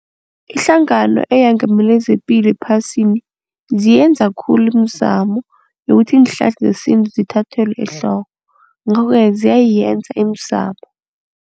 Ihlangano eyengamele zepilo ephasini ziyenza khulu imizamo yokuthi iinhlahla zesintu zithathelwe ehloko. Ngakho-ke ziyayenza imizamo.